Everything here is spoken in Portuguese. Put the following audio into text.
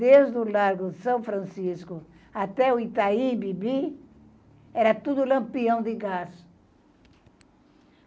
Desde o lago São Francisco até o Itaim Bibi, era tudo Lampião de gás.